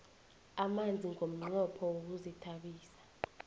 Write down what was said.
amanzi ngomnqopho wokuzithabisa